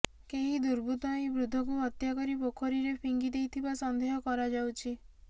କେହି ଦୁର୍ବୃତ୍ତ ଏହି ବୃଦ୍ଧଙ୍କୁ ହତ୍ୟା କରି ପୋଖରୀରେ ଫିଙ୍ଗି ଦେଇଥିବା ସନ୍ଦେହ କରାଯାଉଛି